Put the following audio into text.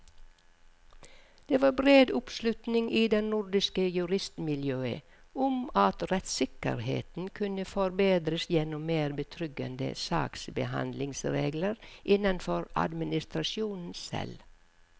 Det var bred oppslutning i det nordiske juristmiljøet om at rettssikkerheten kunne forbedres gjennom mer betryggende saksbehandlingsregler innenfor administrasjonen selv.